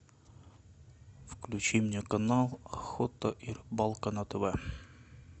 включи мне канал охота и рыбалка на тв